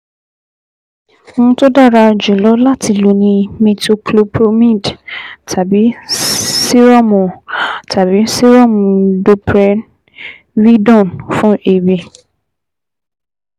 Ohun tó dára jùlọ láti lò ni metoclopromide tàbí sírọ́ọ̀mù tàbí sírọ́ọ̀mù domperidone fún èébì